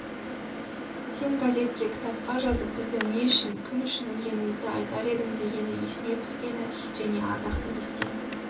сен газетке кітапқа жазып біздің не үшін кім үшін өлгенімізді айтар едің дегені есіне түскені және ардақты естен